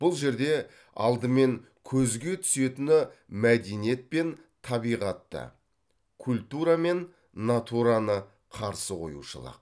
бұл жерде алдымен көзге түсетіні мәдениет пен табиғатты культура мен натураны қарсы қоюшылық